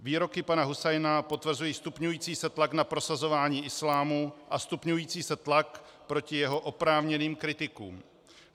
Výroky pana Husajna potvrzují stupňující se tlak na prosazování islámu a stupňující se tlak proti jeho oprávněným kritikům.